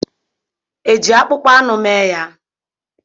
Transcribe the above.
Eji akpụkpọ anụ mee ya?